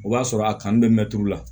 O b'a sɔrɔ a kanu bɛ mɛtiri la